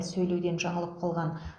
сөйлеуден жаңылып қалған